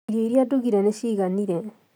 Irio iria ndugire nĩ ciiganire